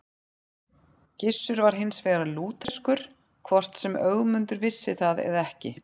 Gissur var hins vegar lútherskur, hvort sem Ögmundur vissi það eða ekki.